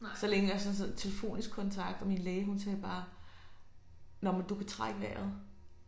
Så længe og så sådan noget telefonisk kontakt og min læge hun sagde bare nåh men du kan trække vejret